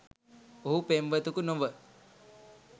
ඔහු පෙම්වතකු නොව